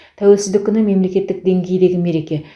тәуелсіздік күні мемлекеттік деңгейдегі мереке